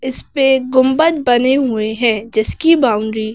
इस पे गुंबद बने हुए हैं जिसकी बाउंड्री --